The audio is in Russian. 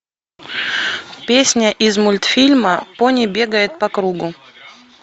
песня из мультфильма пони бегает по кругу